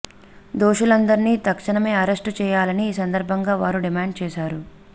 దోషులందర్ని తక్షణమే అరెష్టు చేయాలని ఈ సందర్బంగా వారు డిమాండ్ చేసారు